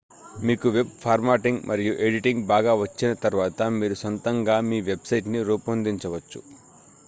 మీకు వెబ్లో ఫార్మాటింగ్ మరియు ఎడిటింగ్ బాగా వచ్చిన తర్వాత మీరు సొంతంగా మీ వెబ్ సైట్ ని రూపొందించవచ్చు